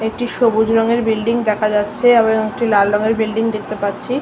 একটি সবুজ রঙের বিল্ডিং দেখা যাচ্ছে আবার অং একটি লাল রঙের বিল্ডিং দেখতে পাচ্ছি।